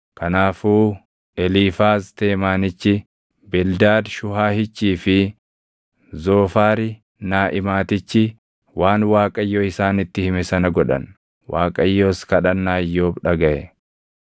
Kanaafuu Eliifaaz Teemaanichi, Bildaad Shuhaahichii fi Zoofaari Naaʼimaatichi waan Waaqayyo isaanitti hime sana godhan; Waaqayyos kadhannaa Iyyoob dhagaʼe.